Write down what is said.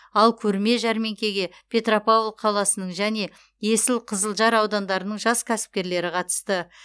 ал көрме жәрмеңкеге петропавл қаласының және есіл қызылжар аудандарының жас кәсіпкерлері қатысты